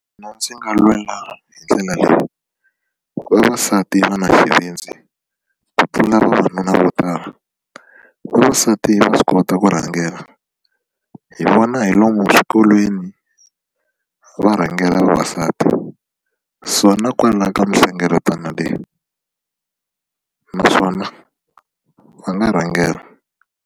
Mina ndzi nga lwela hi ndlela leyi vavasati va na xivindzi ku pfuna vavanuna vo tala vavasati va swi kota ku rhangela hi vona hi lomu eswikolweni va rhangela vavasati so na kwala ka mihlengeletano leyi naswona va nga rhangela.